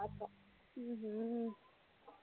ஹம் ஹம்